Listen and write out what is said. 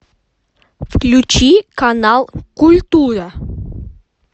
включи канал культура